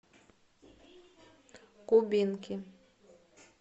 кубинки